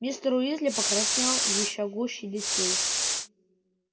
мистер уизли покраснел ещё гуще детей